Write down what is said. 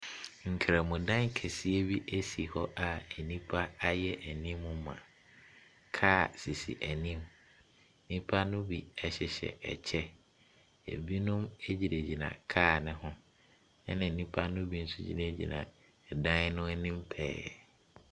Nkrɛmo dan kɛseɛ bi si hɔ a nipa ayɛ animuu ma. Car sisi anim. Nipa no bi ɛhyehyɛ ɛkyɛ, ebinom egyinagyina car no ho, ena enipa no bi nso gyina gyina ɛdan no anim pɛɛ.